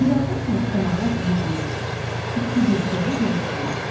Bir azdan sonra qonaqlar bir-bir, iki-bir gəlib yığışdılar.